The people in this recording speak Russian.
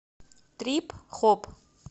трип хоп